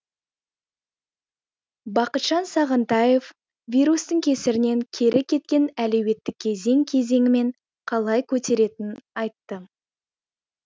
бақытжан сағынтаев вирустың кесірінен кері кеткен әлуетті кезең кезеңімен қалай көтеретінін айтты